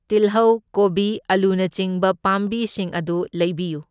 ꯇꯤꯜꯍꯧ, ꯀꯣꯕꯤ, ꯑꯂꯨꯅꯆꯤꯡꯕ ꯄꯥꯝꯕꯤꯁꯤꯡ ꯑꯗꯨ ꯂꯩꯕꯤꯌꯨ꯫